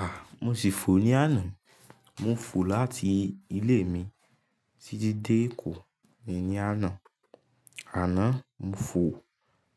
À, mo ṣì fò ní àná. Mo fò láti ilé mi títí dé Èkó íyen ní àná. Àná mo fò, bí